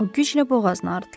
O güclə boğazını arıtdı.